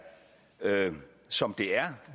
som det er